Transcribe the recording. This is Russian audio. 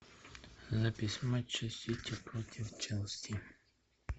запись матча сити против челси